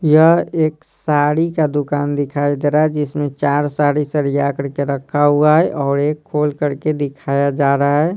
यह एक साड़ी का दुकान दिखाई दे रहा है जिसमें चार साड़ी सड़िया करके रखा हुआ है और एक खोल करके दिखाया जा रहा है।